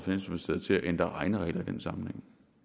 man